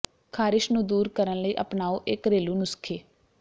ਖਾਰਿਸ਼ ਨੂੰ ਦੂਰ ਕਰਨ ਲਈ ਅਪਣਾਓ ਇਹ ਘਰੇਲੂ ਨੁਸਖੇ